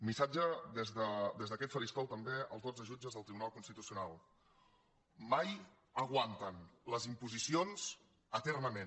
missatge des d’aquest faristol també als dotze jutges del tribunal constitucional mai aguanten les imposicions eternament